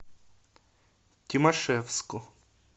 тимашевску